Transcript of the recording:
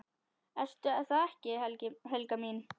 Ertu það ekki, Helga mín?